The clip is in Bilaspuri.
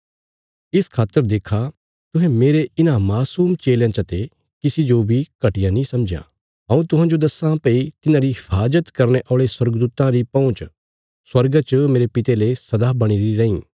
इस खातर देक्खा तुहें मेरे इन्हां मासूम चेलयां चते किसी जो बी घटिया नीं समझयां हऊँ तुहांजो दस्सां भई तिन्हारी हिफाज़त करने औल़े स्वर्गदूतां री पहुँच स्वर्गा च मेरे पिता ले सदा बणीरी रैईं